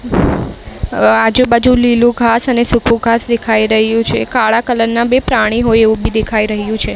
આજુ-બાજુ લીલુ ઘાંસ અને સૂકુ ઘાંસ દેખાય રહ્યુ છે કાળા કલર ના બે પ્રાણી હોય એવુ બી દેખાય રહ્યુ છે.